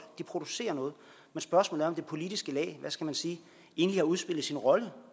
de producerer noget men spørgsmålet om det politiske lag hvad skal jeg sige egentlig har udspillet sin rolle